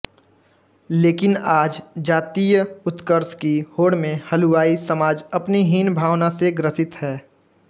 लेकिन आज जातीय उत्कर्ष की होड में हलुवाई समाज अपनी हीन भावना से ग्रसित है